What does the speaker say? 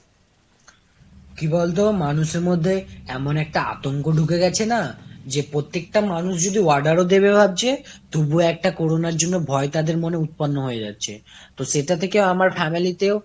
কি বলতো মানুষের মধ্যে এমন একটা আতঙ্ক ঢুকে গেছে না , যে পপ্রত্যেকটা মানুষ যে order ও দেবে ভাবছে তবুও একটা corona র জন্য ভয় তাদের মনে উৎপন্ন হওয়ার যাচ্ছে। তো সেটা থেকে আমার family তে ও